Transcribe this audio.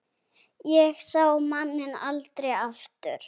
Ég sá manninn aldrei aftur.